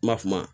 Ma fu ma